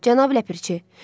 Cənab ləpirçi.